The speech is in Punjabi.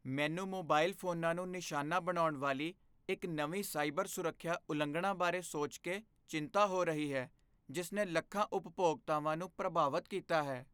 ਮੈਨੂੰ ਮੋਬਾਈਲ ਫੋਨਾਂ ਨੂੰ ਨਿਸ਼ਾਨਾ ਬਣਾਉਣ ਵਾਲੀ ਇੱਕ ਨਵੀਂ ਸਾਈਬਰ ਸੁਰੱਖਿਆ ਉਲੰਘਣਾ ਬਾਰੇ ਸੋਚ ਕੇ ਚਿੰਤਾ ਹੋ ਰਹੀ ਹੈ ਜਿਸ ਨੇ ਲੱਖਾਂ ਉਪਭੋਗਤਾਵਾਂ ਨੂੰ ਪ੍ਰਭਾਵਤ ਕੀਤਾ ਹੈ।